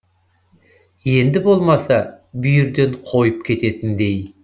енді болмаса бүйірден қойып кететіндей